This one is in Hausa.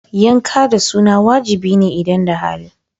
Yanka da suna wajibi ne idan da hali.